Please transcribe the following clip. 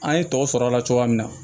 An ye tɔw sɔrɔ a la cogoya min na